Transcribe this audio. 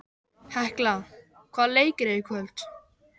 Hekla, hvaða leikir eru í kvöld?